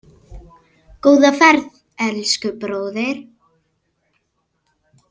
Góða ferð, elsku bróðir.